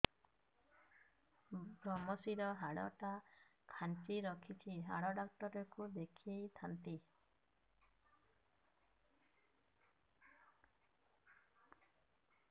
ଵ୍ରମଶିର ହାଡ଼ ଟା ଖାନ୍ଚି ରଖିଛି ହାଡ଼ ଡାକ୍ତର କୁ ଦେଖିଥାନ୍ତି